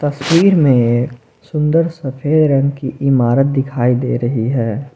तस्वीर में सुंदर सफेद रंग की इमारत दिखाई दे रही है।